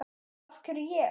Og af hverju ég?